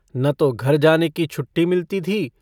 न तो घर जाने की छुट्टी मिलती।